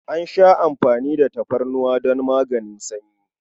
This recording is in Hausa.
An sha amfani da tafarnuwa don maganin sanyi.